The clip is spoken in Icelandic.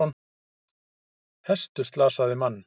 Hestur slasaði mann